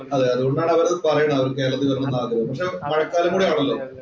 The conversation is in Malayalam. അതേ, അതുകൊണ്ടാണ് അവരത് പറയണത്. അവര് കേരളത്തില്‍ വരണമെന്ന് ആഗ്രഹം. പക്ഷെ മഴക്കാലം കൂടിയാണല്ലോ?